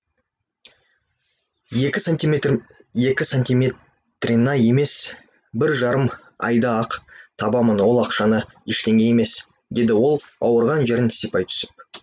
екі сантиметр екі сантиметрена емес бір жарым айда ақ табамын ол ақшаны ештеңе емес деді ол ауырған жерін сипай түсіп